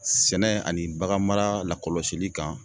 Sɛnɛ ani baganmara lakɔlɔsili kan